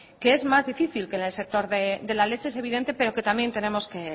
que es más difícil que la del sector de la leche es evidente pero que también tenemos que